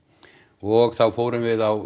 og þá fórum við á